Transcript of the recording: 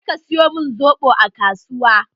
Je ka siyo min soɓo a kasuwa!